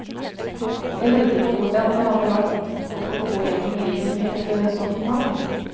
Jeg lurte på hvordan det hadde vært å gå gjennom livet med et sånt navn.